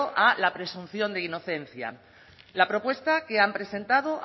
a la presunción de inocencia la propuesta que han presentado